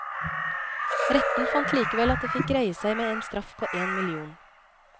Retten fant likevel at det fikk greie seg med en straff på én million.